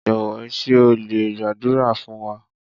Jọ̀wọ́ ṣé o lè gbàdúrà fún wa?